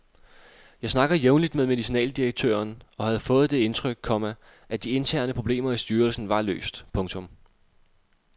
Jeg snakker jævnligt med medicinaldirektøren og havde fået det indtryk, komma at de interne problemer i styrelsen var løst. punktum